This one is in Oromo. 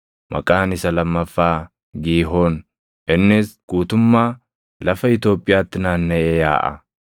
Maqaan isa lammaffaa Giihooni; innis guutummaa lafa Itoophiyaatti naannaʼee yaaʼa.